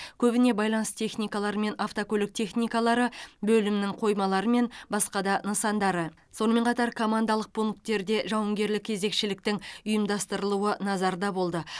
көбіне байланыс техникалары мен автокөлік техникалары бөлімнің қоймалары мен басқа да нысандары сонымен қатар командалық пункттерде жауынгерлік кезекшіліктің ұйымдастырылуы назарда болды